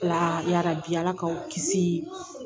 Ya yarabi ala k'aw kisiii